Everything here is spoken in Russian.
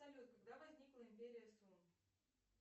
салют когда возникла империя сун